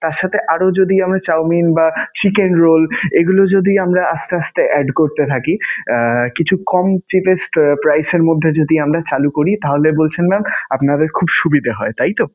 তার সাথে mam আরও যদি আমরা chowmein বা chicken roll এইগুলো যদি আমরা আসতে আসতে add করতে থাকি আহ কিছু কম cheapest price এর মধ্যে যদি আমরা চালু করি তাহলে বলছেন mam আপনাদের খুব সুবিধা হয়. তাইতো?